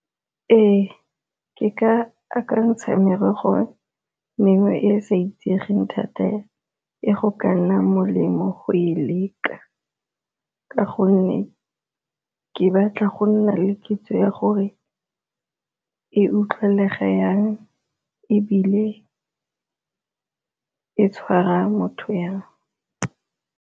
Ee, ke ka akantsha merogo mengwe e e sa itsegeng thata e go ka nna molemo go e leka ka gonne ke batla go nna le kitso ya gore e utlwelega yang, ebile e tshwara motho yang.